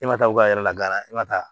E ma taa u ka yɛrɛ la e ma taa